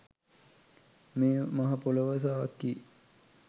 මේ මහ පොලව සාක්කියි.